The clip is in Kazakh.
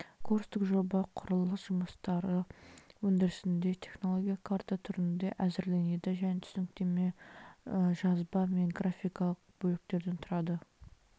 курстық жоба құрылыс жұмыстары өндірісінде технологиялық карта түрінде әзірленеді және түсініктеме жазба мен графикалық бөліктен тұрады